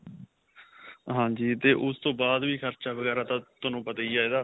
ਹਾਂਜੀ ਤੇ ਉਸਤੋ ਬਾਅਦ ਵੀ ਖ਼ਰਚਾ ਵਗੇਰਾ ਤਾਂ ਤੁਹਾਨੂੰ ਪਤਾ ਹੀ ਹੈ ਏਦਾ .